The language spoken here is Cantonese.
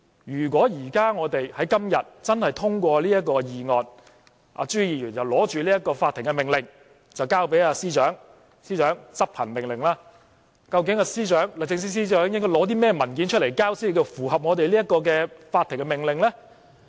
如果我們今天真的通過這項議案，朱議員便拿着法庭命令交給律政司司長，要求司長執行命令，究竟司長應該提交甚麼文件，才能符合法庭的命令呢？